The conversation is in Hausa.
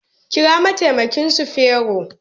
Kira mataimaki sufero